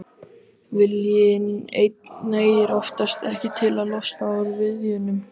Viljinn einn nægir oftast ekki til að losna úr viðjunum.